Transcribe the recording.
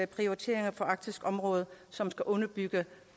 prioriteringer for arktisk område som skal underbygge